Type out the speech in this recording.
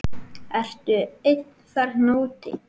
Ertu einn þarna úti?